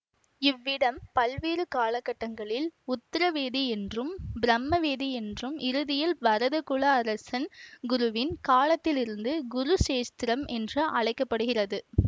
இவ்விடம் பல்வேறு காலகட்டங்களில் உத்தரவேதி என்றும் பிரம்மவேதி என்றும் இறுதியில் பரத குல அரசன் குரு வின் காலத்திலிருந்து குருச்சேத்திரம் என்று அழைக்க படுகிறது